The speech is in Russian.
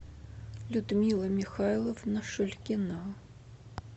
людмила михайловна шульгина